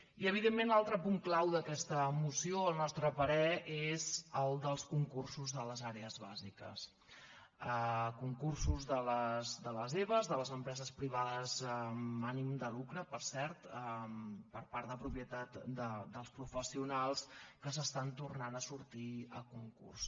i evidentment l’altre punt clau d’aquesta moció al nostre parer és el dels concursos de les àrees bàsiques concursos de les eba de les empreses privades amb ànim de lucre per cert per part de propietat dels professionals que tornen a sortir a concurs